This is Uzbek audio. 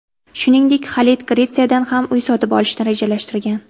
Shuningdek, Xalit Gretsiyadan ham uy sotib olishni rejalashtirgan.